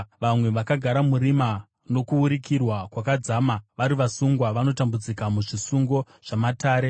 Vamwe vakagara murima nokusurikirwa kwakadzama, vari vasungwa vanotambudzika muzvisungo zvamatare,